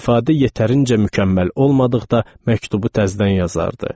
ifadə yetərincə mükəmməl olmadıqda məktubu təzdən yazardı.